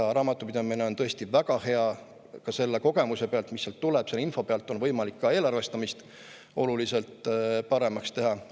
Nii et raamatupidamine on tõesti väga hea ja selle kogemuse pealt, mis sealt tuleb, selle info pealt on võimalik ka eelarvestamist oluliselt paremaks teha.